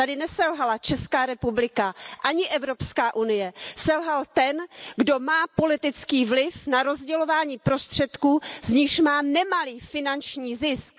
Tady neselhala Česká republika, ani Evropská unie, selhal ten, kdo má politický vliv na rozdělování prostředků, z nichž má nemalý finanční zisk.